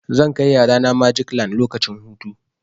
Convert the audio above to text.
Zan kai yarana magic land lokacin hutu.